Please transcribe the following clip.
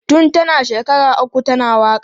Tun tana shekara uku tana waka.